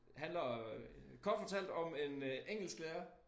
Handler øh kort fortalt om en øh engelsklærer